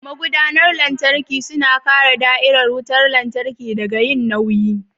Magudanar lantarki suna kare da'irar wutar lantarki daga yin nauyi.